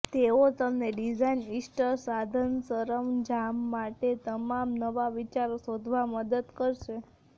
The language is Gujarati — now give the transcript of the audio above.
તેઓ તમને ડિઝાઇન ઇસ્ટર સાધનસરંજામ માટે તમામ નવા વિચારો શોધવા મદદ કરશે